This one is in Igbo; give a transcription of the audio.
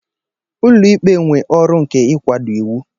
Ụlọ ikpe nwe ọrụ nke ịkwado iwu.